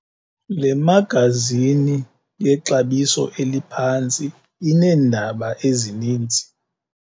Le magazini yexabiso eliphantsi ineendaba ezininzi.